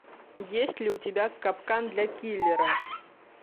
есть ли у тебя капкан для киллера